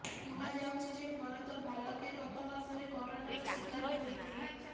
କୁହାଯାଉଛି ଯେ ଭରତ ଭାଲକେ ଗତ ମାସରେ କରୋନାର ଶିକାର ହୋଇଥିଲେ